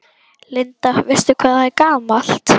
Linda: Veistu hvað það er gamalt?